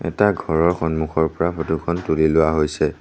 এটা ঘৰৰ সন্মুখৰ পৰা ফটোখন তুলি লোৱা হৈছে।